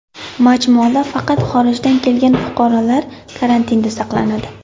Majmuada faqat xorijdan kelgan fuqarolar karantinda saqlanadi.